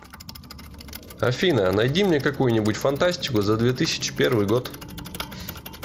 афина найди мне какую нибудь фантастику за две тысячи первый год